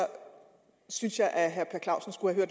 synes jeg at herre per clausen skulle have